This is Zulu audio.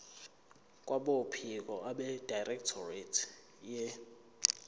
kwabophiko abedirectorate ye